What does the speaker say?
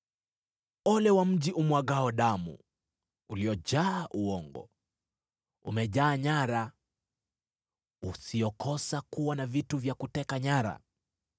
Ole wa mji umwagao damu, uliojaa uongo, umejaa nyara, usiokosa kuwa na vitu vya kuteka nyara.